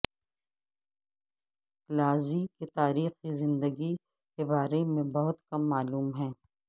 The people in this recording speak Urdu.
لازی کے تاریخی زندگی کے بارے میں بہت کم معلوم ہے